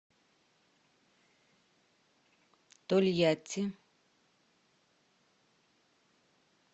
тольятти